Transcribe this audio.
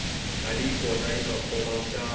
mali hi yona yinga khoma vuxaka